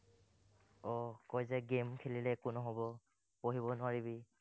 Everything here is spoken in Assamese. আহ কয় যে game খেলিলে একো নহব। পঢ়িব নোৱাৰিবি।